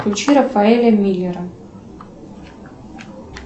включи рафаэля миллера